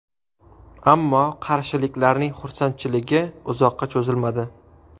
Ammo qarshiliklarning xursandchiligi uzoqqa cho‘zilmadi.